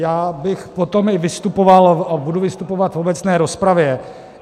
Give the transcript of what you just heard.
Já bych potom i vystupoval a budu vystupovat v obecné rozpravě.